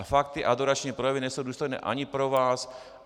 A fakt ty adorační projevy nejsou důstojné ani pro vás.